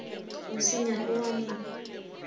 mo senya o a mo